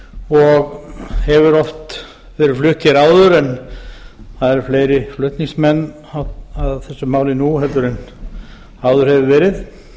og hefur oft verið flutt hér áður en það eru fleiri flutningsmenn að þessu máli nú en áður hefur verið